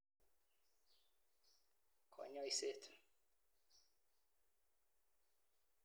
Konyoiset.